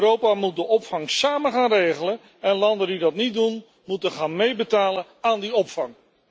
Europa moet de opvang samen gaan regelen en landen die dat niet doen, moeten gaan meebetalen aan die opvang.